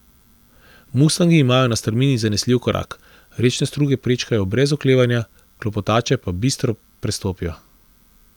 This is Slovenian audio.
Mustangi imajo na strmini zanesljiv korak, rečne struge prečkajo brez oklevanja, klopotače pa bistro prestopijo.